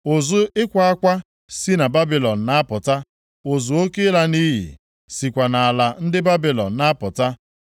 “Ụzụ ịkwa akwa si na Babilọn na-apụta, ụzụ oke ịla nʼiyi sikwa nʼala ndị Babilọn na-apụta.